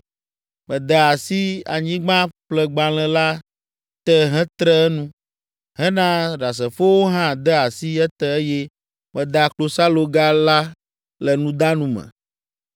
Mede asi anyigbaƒlegblalẽ la te hetre enu, hena ɖasefowo hã de asi ete eye meda klosaloga la le nudanu me.